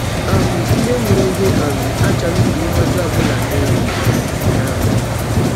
um Ndị mụrụ gị um achọghị ka ihe ọjọọ ọ bụla mee gị. um. um